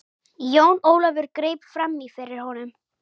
Jón Ólafur greip framí fyrir honum.